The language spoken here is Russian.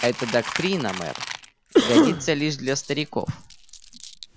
эта доктрина мэр годится лишь для стариков